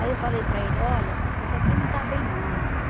Aí eu falei para ele, olha, isso aqui não está bem não, velho.